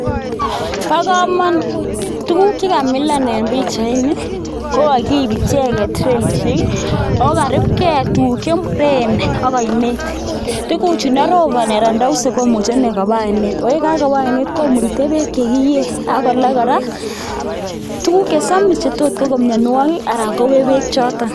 Bokomonut, tukuk chekamilan en pichaini ko kokiib icheket relishek oo karubke tukuk chemuren ak oinet, tukuchu ndoroboni anan ndouse komuche inee kobaa oinet oo yekakoba oinet komurite beek chekiyee ak kolaa kora tukuk chesomis chetiot koko mionwokik anan kowech beek choton.